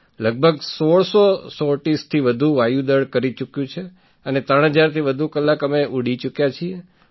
લગભગ ૧૬૦૦ સૉર્ટિઝથી વધુ વાયુ દળ કરી ચૂક્યું છે અને ૩૦૦૦થી વધુ કલાક અમે ઊડી ચૂક્યા છીએ